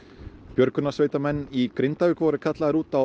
björgunarsveitarmenn í Grindavík voru kallaðir út á